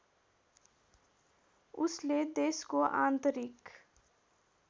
उसले देशको आन्तरिक